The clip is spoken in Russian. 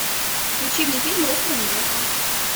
включи мне фильм русская невеста